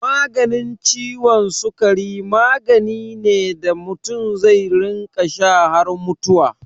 Maganin ciwon sikari magani ne da mutum zai rinƙa sha har mutuwa.